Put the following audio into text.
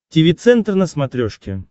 тиви центр на смотрешке